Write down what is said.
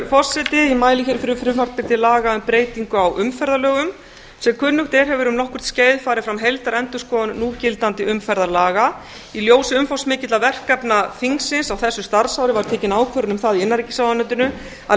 forseti ég mæli hér fyrir frumvarpi til laga um breytingu á umferðarlögum sem kunnugt er hefur um nokkurt skeið farið fram heildarendurskoðun núgildandi umferðarlaga í ljósi umfangsmikilla verkefna þingsins á þessu starfsári var tekin ákvörðun um það í innanríkisráðuneytinu að